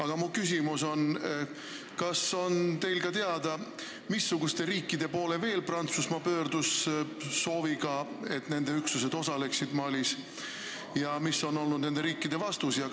Aga mu küsimus on: kas teile on teada, missuguste riikide poole veel Prantsusmaa pöördus sooviga, et nende üksused osaleksid Malis, ja mis on olnud nende riikide vastus?